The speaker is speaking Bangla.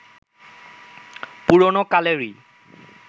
পুরোনো কালেরই